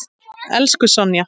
Elsku Sonja.